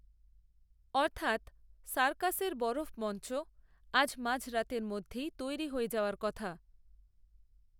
অর্থাৎ সার্কাসের বরফমঞ্চ আজ মাঝরাতের মধ্যেই তৈরি হয়ে যাওয়ার কথা